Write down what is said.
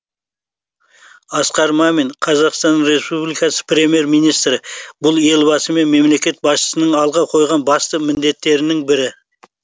асқар мамин қазақстан республикасы премьер министрі бұл елбасы мен мемлекет басшысының алға қойған басты міндеттердің бірі